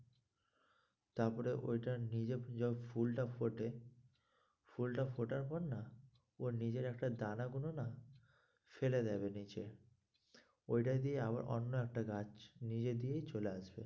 তারপরে ওইটার নিজে যবে ফুলটা ফোটে ফুলটা ফোটার পর না ওর নিজের একটা দানা গুলো না ফেলে দেবে নিচে ওইটা দিয়েই আবার অন্য একটা গাছ নিজে দিয়েই চলে আসবে।